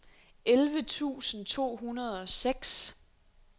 elleve tusind to hundrede og seks